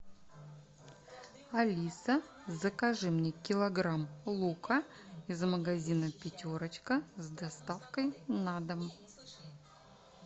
алиса закажи мне килограмм лука из магазина пятерочка с доставкой на дом